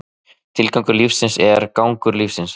Tilgangur lífsins er gangur lífsins.